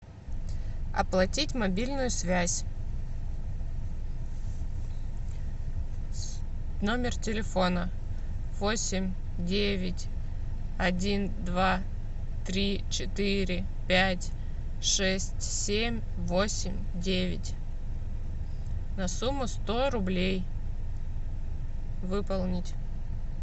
оплатить мобильную связь номер телефона восемь девять один два три четыре пять шесть семь восемь девять на сумму сто рублей выполнить